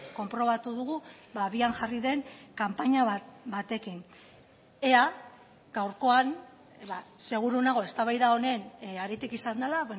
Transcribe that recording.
konprobatu dugu abian jarri den kanpaina batekin ea gaurkoan seguru nago eztabaida honen haritik izan dela